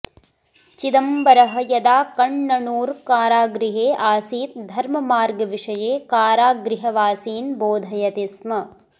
चिदंबरः यदा कण्णणूर् कारागृहे आसीत् धर्ममार्ग विषये कारागृहवासीन् बोधयति स्म